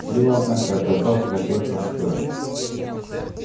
дело однако оказалось не такое простое